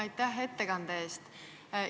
Aitäh ettekande eest!